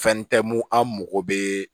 Fɛn tɛ mun an mago bɛ